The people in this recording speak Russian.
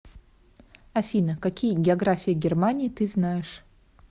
афина какие география германии ты знаешь